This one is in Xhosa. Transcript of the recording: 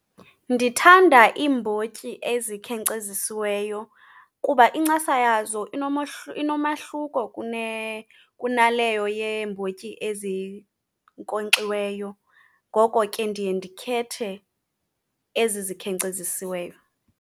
Ndithanda iimbotyi ezikhenkcezisiweyo kuba incasa yazo inomahluko kunaleyo yeembotyi ezinkonkxiweyo. Ngoko ke ndiye ndikhethe ezi zikhenkcezisiweyo.